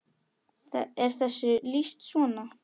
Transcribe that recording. er þessu lýst svona